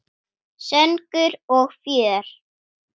Söngur og fjör.